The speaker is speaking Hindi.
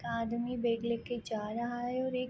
आदमी बैग ले के जा रहा है और एक --